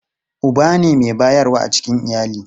Uba ne mai bayarwa a cikin iyali.